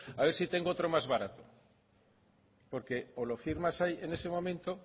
haber si tengo otro más barato porque o lo firmas ahí en ese momento